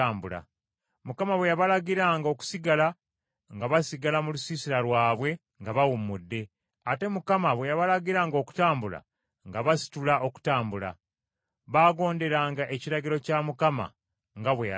Mukama bwe yabalagiranga okusigala, nga basigala mu lusiisira lwabwe nga bawummudde, ate Mukama bwe yabalagiranga okutambula, nga basitula okutambula. Baagonderanga ekiragiro kya Mukama nga bwe yalagira Musa.